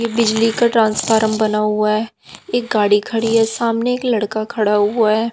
ये बिजली का ट्रांसफारम ट्रांसफॉर्म बना हुआ है एक गाड़ी खड़ी है सामने एक लड़का खड़ा हुआ है।